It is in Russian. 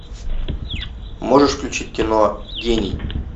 можешь включить кино гений